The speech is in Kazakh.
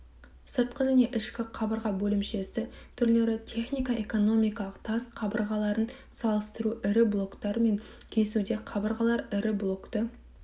сыртқы және ішкі қабырға бөлімшесі түрлері технико-экономикалық тас қабырғаларын салыстыру ірі блоктар мен кесуде қабырғалар ірі блокты